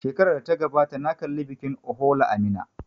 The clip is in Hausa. Shekarar da ta gabata na kalli bikin ohola a Minna.